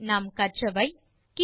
இந்த டுடோரியலில் நாம் கற்றவை 1